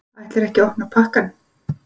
Ætlarðu ekki að opna pakkann?